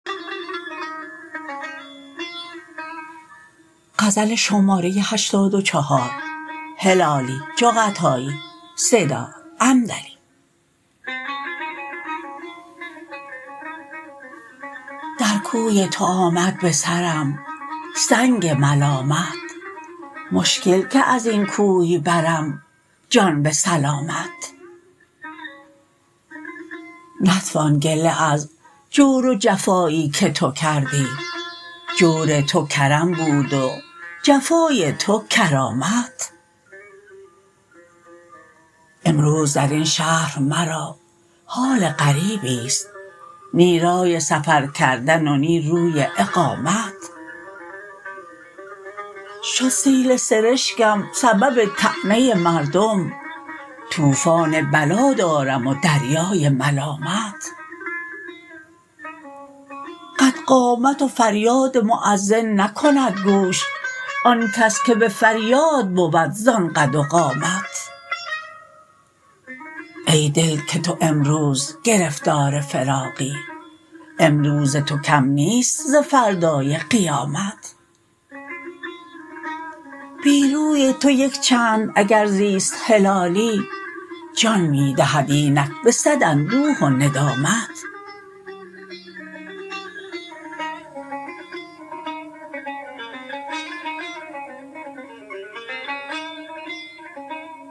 در کوی تو آمد بسرم سنگ ملامت مشکل که ازین کوی برم جان بسلامت نتوان گله از جور و جفایی که تو کردی جور تو کرم بود و جفای تو کرامت امروز درین شهر مرا حال غریبست نی رای سفر کردن و نی روی اقامت شد سیل سرشکم سبب طعنه مردم توفان بلا دارم و دریای ملامت قد قامت و فریاد مؤذن نکند گوش آن کس که بفریاد بود زان قد و قامت ای دل که تو امروز گرفتار فراقی امروز تو کم نیست ز فردای قیامت بی روی تو یک چند اگر زیست هلالی جان میدهد اینک بصد اندوه و ندامت